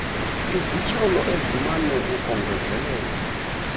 izityholo ezimana ukongezelelwa